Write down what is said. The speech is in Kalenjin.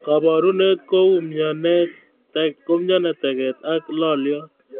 Kaborunet kou myanet, teket, ak loliot